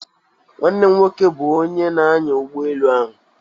Nwanne m nwoke bụ onye na-anya ụgbọ elu ahụ.